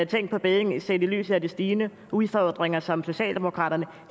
ting på bedding set i lyset af de stigende udfordringer som socialdemokraterne